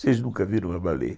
Vocês nunca viram uma baleia?